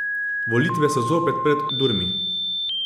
Volitve so zopet pred durmi.